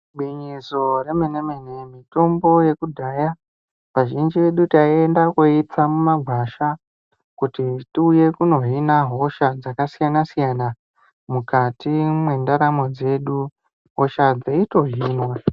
Ingwinyiso remeneme mitombo yekudhaya kazhinji edu taienda kooitsa mumagwasha kuti tiuye kunohina hosha dzakasiyana siyana mukati mwendaramo dzedu hosha dzeitohinwa .